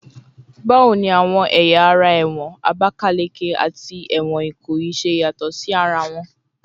Bawo ni awọn ẹya ara ẹwọn Abakaleke ati ẹwọn Ikoyi ṣe yatọ si ara wọn?